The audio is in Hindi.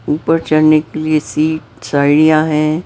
ऊपर चलने के लिए सीट साइडियां हैं।